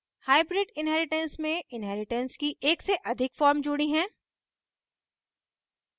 hybrid inheritance में inheritance की एक से अधिक form जुड़ी है